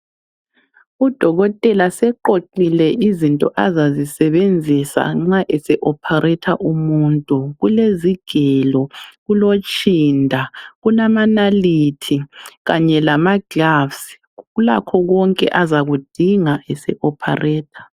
Udokotela seqoqile izinto azazisebenzisa nxa ese opareta umuntu. Kulezigelo, kulotshinda kulamanalithi kanye lama gloves. Ulakho konke azakudinga ese opareta.